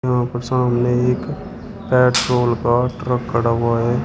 यहां पर सामने एक पेट्रोल का ट्रक खड़ा हुआ है।